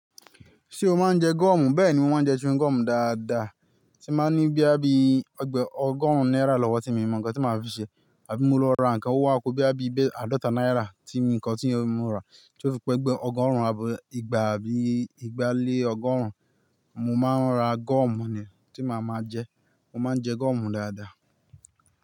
Ṣé o máa ń jẹ gọ́ọ̀mù? Bẹ́ẹ̀ni, mo máa ń jẹ chewing gọ́ọ̀mù dáadáa. Tí n ba ni boya bíi ọgb--ọgọ́rùn-ún náírà lọ́wọ́ tí mo mọ nǹkan tí màá fi ṣe àbí mo lọ ra nǹkan o wa ku boya bí àbí igba àádọ́ta náírà tí nǹkan tí mo rà tí ó fi pé gbé ọgọ́rùn-ún àbí igba àbí igba lé ọgọ́rùn-ún. Mo máa ń ra gọ́ọ̀mù ni tí màá máa jẹ. Mo máa ń jẹ gọ́ọ̀mù dáadáa.